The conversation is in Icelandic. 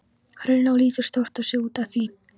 Hrauninu og lítur stórt á sig út af því.